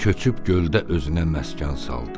O köçüb göldə özünə məskən saldı.